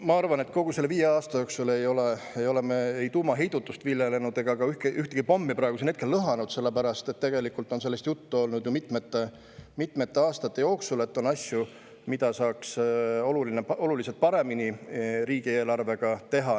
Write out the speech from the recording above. Ma arvan, et kogu selle viie aasta jooksul ei ole me tuumaheidutust viljelenud ega ole ka praegu ühtegi pommi lõhanud, sellepärast et tegelikult on sellest juttu olnud ju mitmete aastate jooksul, et on asju, mida saaks riigieelarves oluliselt paremini teha.